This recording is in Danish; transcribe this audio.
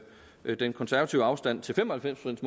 høre den konservative afstand til fem og halvfems